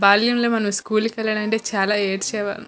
బాల్యం లో మనం స్కూల్ కి వెళ్లాలంటే చాలా ఏడ్చేవాళ్ళం.